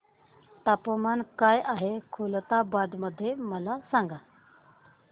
तापमान काय आहे खुलताबाद मध्ये मला सांगा